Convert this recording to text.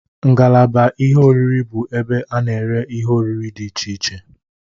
Ngalaba ihe oriri bụ ebe a na-ere ihe oriri dị iche iche.